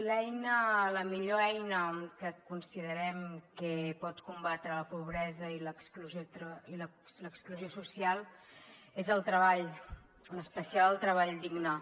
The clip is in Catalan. bé la millor eina que considerem que pot combatre la pobresa i l’exclusió social és el treball en especial el treball digne